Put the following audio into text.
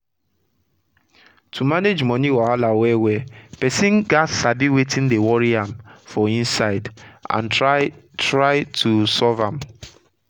to manage moni wahala well well persin gats sabi wetin dey worri am for inside and try try to solve am